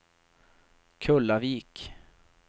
Kullavik